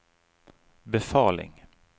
befaling